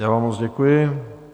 Já vám moc děkuji.